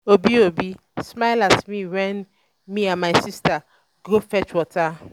obi obi smile at me wen me and my sister go fetch water